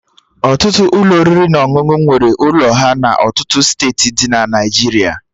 Ọtụtụ Ụlọ oriri na ọṅụṅụ nwere ụlọ ha na ọtụtụ steeti dị na Naijiria